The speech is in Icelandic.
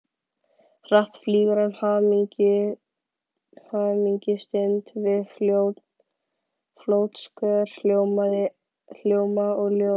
Hratt flýgur yfir hamingjustund við fótskör hljóma og ljóðs.